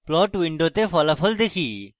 plot window ফলাফল দেখি